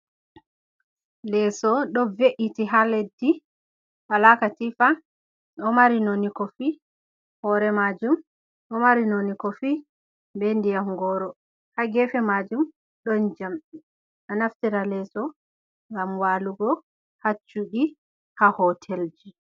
Leso ɗo ve’iti ha leddi wala katifa ɗo mari noni kofi hore majum ɗo mari noni kofi be ndiyam goro ha gefe majum ɗon jamɗe a naftira leso ngam walugo ha suɗi ha hotel je.